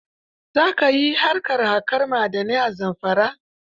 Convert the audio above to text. Za ka yi harkar haƙar ma'adanai a Zamfara.